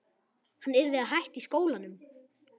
Hann yrði að hætta í skólanum!